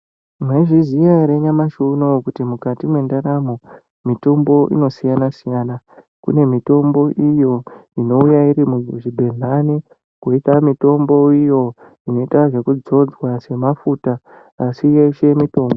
Mwaizviziya ere nyamashi unowu kuti mukati mwendaramo, mitombo inosiyana-siyana. Kune mitombo iyo, inouya iri muzvigedhlani, kwoiita mitombo iyo inoita zvekudzodzwa semafuta, asi yeshe mitombo.